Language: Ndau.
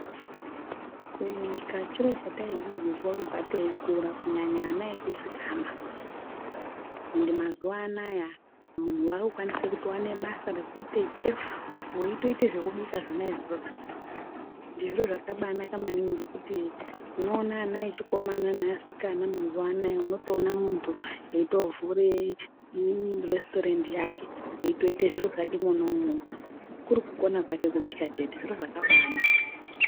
Kubika chiro chataidzidziswa kubva teikura kunyanya ana echisikana, ende mazuano aya munhu wakutokwanise kuwane basa kuite Chef weitoite zvokubika zvona izvozvo. Zviro zvakaba anaka maningi, ngekuti unoone ana echikomana neasikana eitovhure restaurant yakwe eitoite zviro zvakwe mwona imomo kurikona kwake kubika chete, zviro zvakaba anaka.